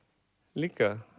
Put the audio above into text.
líka